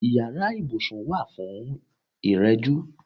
Ìyára ibùsùn wà fún ìrẹ̀jú.